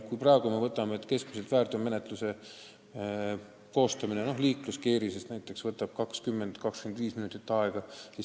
Praegu võtab väärteoprotokolli koostamine liikluskeerises keskmiselt 20–25 minutit aega.